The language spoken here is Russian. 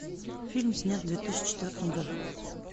фильм снят в две тысячи четвертом году